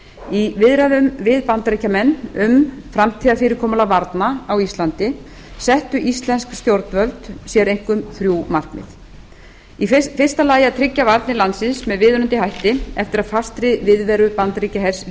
í viðræðum við bandaríkjamenn um framtíðarfyrirkomulag varna á íslandi settu íslensk stjórnvöld sér einkum þrjú markmið í fyrsta lagi að tryggja varnir landsins með viðunandi hætti eftir að fastri viðveru bandaríkjahers